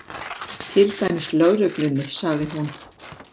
Til dæmis lögreglunni, sagði hún.